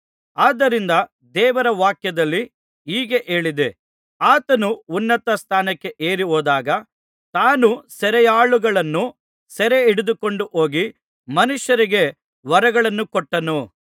ಆದ್ದರಿಂದ ದೇವರವಾಕ್ಯದಲ್ಲಿ ಹೀಗೆ ಹೇಳಿದೆ ಆತನು ಉನ್ನತ ಸ್ಥಾನಕ್ಕೆ ಏರಿಹೋದಾಗ ತಾನು ಸೆರೆಯಾಳುಗಳನ್ನು ಸೆರೆಹಿಡಿದುಕೊಂಡು ಹೋಗಿ ಮನುಷ್ಯರಿಗೆ ವರಗಳನ್ನು ಕೊಟ್ಟನು